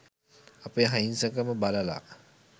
අපේ අහිංසකකම බලලා